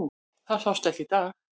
Það sást ekki í dag.